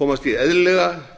komast í eðlilega